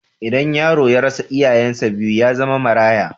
Idan yaro ya rasa iyayensa biyu, ya zama maraya.